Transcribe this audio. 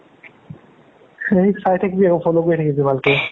সেই চাই থাকিবি আৰু follow কৰি থাকিবি ভালকে